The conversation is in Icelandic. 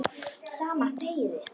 Sama og þegið!